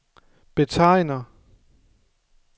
betegner